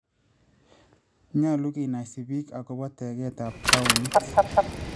Nyalu kenaisi biik akobo tegeetab tawuniit